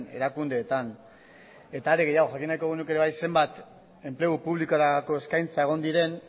erakundeetan eta are gehiago jakin nahiko genuke ere bai zenbat enplegu publikorako eskaintza egon diren